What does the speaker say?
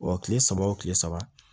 Ɔ kile saba wo kile saba